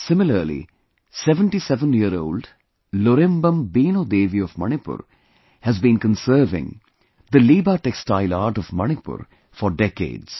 Similarly, 77yearold Lorembam Beino Devi of Manipur has been conserving the Liba textile art of Manipur for decades